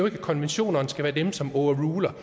at konventionerne skal være det som overruler